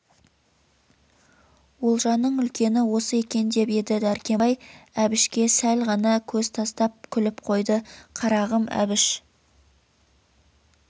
олжаның үлкені осы екен деп еді дәркембай әбішке сәл ғана көз тастап күліп қойды қарағым әбіш